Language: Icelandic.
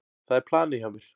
Það er planið hjá mér.